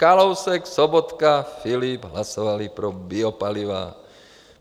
- Kalousek, Sobotka, Filip hlasovali pro biopaliva.